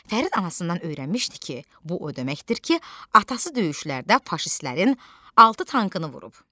Fərid anasından öyrənmişdi ki, bu o deməkdir ki, atası döyüşlərdə faşistlərin altı tankını vurub.